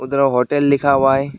इधर होटल लिखा हुआ है।